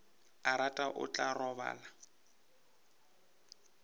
a rata o tla robala